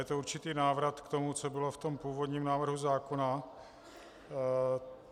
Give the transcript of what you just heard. Je to určitý návrat k tomu, co bylo v tom původním návrhu zákona.